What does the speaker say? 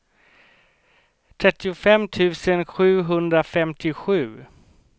trettiofem tusen sjuhundrafemtiosju